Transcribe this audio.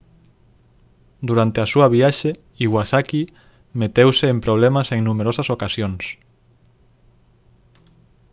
durante a súa viaxe iwasaki meteuse en problemas en numerosas ocasións